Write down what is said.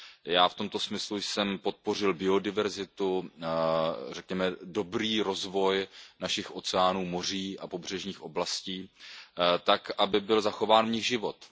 Já v tomto smyslu jsem podpořil biodiverzitu, řekněme dobrý rozvoj našich oceánů, moří a pobřežních oblastí tak, aby v nich byl zachován život.